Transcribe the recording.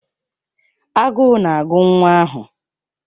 Agụụ na-agụ nwa ahụ.